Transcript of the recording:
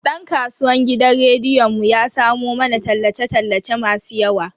Dan kasuwan gidan rediyon mu ya samo mana tallace tallace masu yawa.